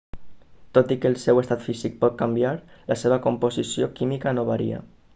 tot i que el seu estat físic pot canviar la seva composició química no varia